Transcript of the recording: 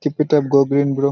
Keep it up go green bro.